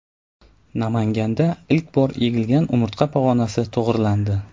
Namanganda ilk bor egilgan umurtqa pog‘onasi to‘g‘rilandi.